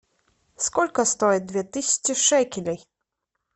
сколько стоит две тысячи шекелей